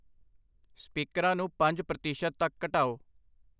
ਸਪੀਕਰਾਂ ਨੂੰ ਪੰਜ ਪ੍ਰਤੀਸ਼ਤ ਤੱਕ ਘਟਾਓ।